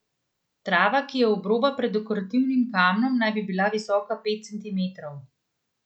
Trava, ki je obroba pred dekorativnim kamnom, naj bi bila visoka pet centimetrov.